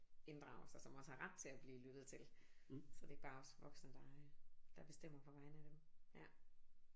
Inddrages og som også har ret til at blive lyttet til så det ikke bare er os voksne der der bestemmer på vegne af dem ja